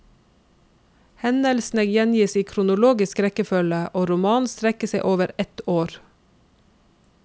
Hendelsene gjengis i kronologisk rekkefølge, og romanen strekker seg over ett år.